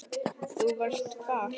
Þú varst hvar?